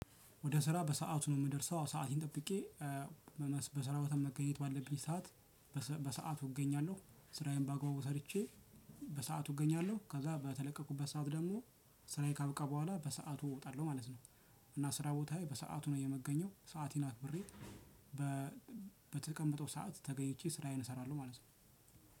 ወደ ስራ በሰአቱ ነው የምደርሰው ሰአቴን ጠብቄ በስራ ቦታ መገኘት ባለብኝ ሰዓት። በሰአቱ እገኛለሁ ስራዬን ባገባቡው ሰርቼ በሰአቱ እገኛለሁ ከዛ በተለቀቁበት ሰዓት ደግሞ ስራዬ ካበቃ በኋላ በሰአቱ እወጣለሁ ማለት ነው። እና ስራ ቦታዬ በሰአቱ ነው የምገኘው ሰአቴን አክብሬ። በተቀምጠው ሰዓት ተገኝቼ ስራዬን እሰራለሁ ማለት ነው።